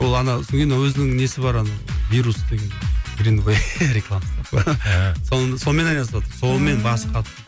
ол ана сонан кейін өзінің несі бар ана вирус деген грин вэй рекламасы бар сол сонымен айналысыватыр сонымен басы қатып